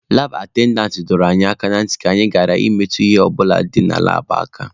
Laab atendantị dọrọ anyị aka na ntị ka anyị ghara ịmetụ ihe ọ bụla dị na laabụ aka.